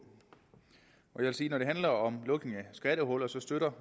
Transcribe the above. jeg vil sige at når det handler om lukning af skattehuller så støtter